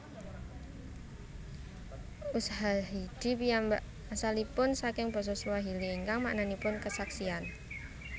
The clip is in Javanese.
Ushahidi piyambak asalipun saking basa Swahili ingkang maknanipun kesaksian